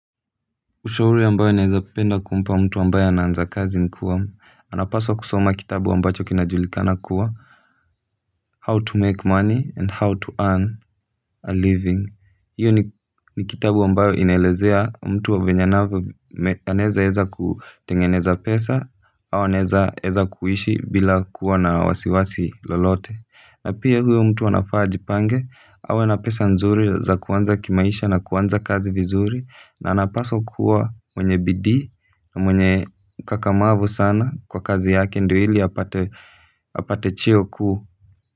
Ushauri ambao naeza penda kumpa ambaye anaanza kazi ni kuwa anapaswa kusoma kitabu ambacho kinajulikana kuwa how to make money and how to earn a living. Hiyo ni kitabu ambayo inaelezea mtu venye anavyo anaeza eza kutengeneza pesa au anaeza eza kuishi bila kuwa na wasiwasi lolote na pia huyo mtu wl anafaa ajipange awe na pesa nzuri za kuanza kimaisha na kuanza kazi vizuri na anapaswa kuwa mwenye bidii na mwenye ukakamavu sana kwa kazi yake ndo ili apate cheo ku.